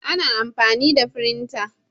ana amfani da firinta